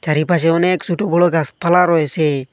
চারিপাশে অনেক ছোট বড় গাছপালা রয়েছে।